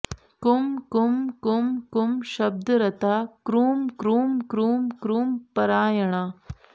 कुं कुं कुं कुं शब्दरता क्रूं क्रूं क्रूं क्रूं परायणा